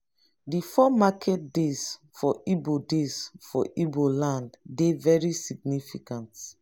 di four market days for igbo days for igbo land dey very significant.